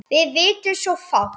Við vitum svo fátt.